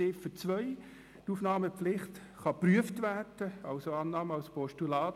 Zu Ziffer 2: Die Aufnahmepflicht kann geprüft werden, also Annahme als Postulat.